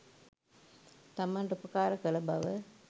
තමන්ට උපකාර කළ බව